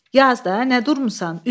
Yaz da, nə durmusan?